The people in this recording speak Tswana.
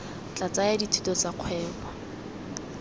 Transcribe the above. tla tsaya dithuto tsa kgwebo